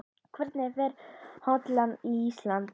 Hvernig fer Holland- Ísland?